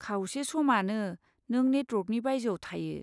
खावसे समानो, नों नेटवर्कनि बायजोआव थायो।